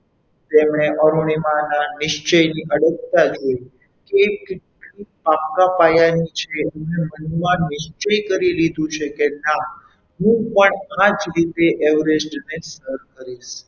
તેમણે અરુણિમા ના નિશ્ચયની અડગતા જોઈ એક પાકા પાયાની મનમાં નિશ્ચય કરી લીધું છે કે ના હું પણ આ જ રીતે everest ને સર કરીશ.